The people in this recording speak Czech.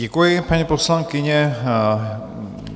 Děkuji, paní poslankyně.